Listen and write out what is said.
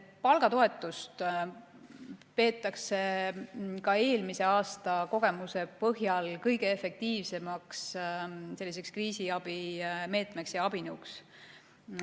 Palgatoetust peetakse ka eelmise aasta kogemuse põhjal kõige efektiivsemaks kriisiabi meetmeks ja abinõuks.